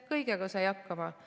Kõigega sai hakkama.